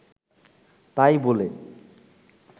তাই বলে